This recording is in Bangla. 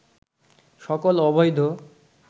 সকল অবৈধ